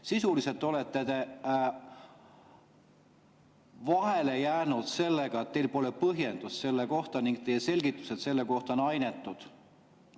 Sisuliselt te olete vahele jäänud sellega, et teil pole põhjendust selle kohta, teie selgitused selle kohta on ainetud.